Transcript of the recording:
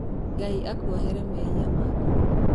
Ngai akuohere mehia maku.